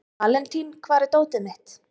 Valentín, hvar er dótið mitt?